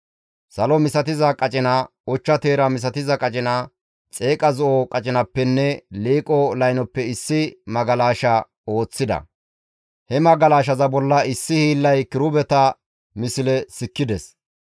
Salo misatiza qacinappe, ochcha teera misatiza qacinappe, xeeqa zo7o qacinappenne liiqo laynoppe issi magalasha ooththida. He magalashaza bolla issi hiillay kirubeta misle sikkides.